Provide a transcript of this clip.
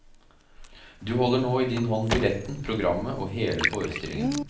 Du holder nå i din hånd billetten, programmet og hele forestillingen.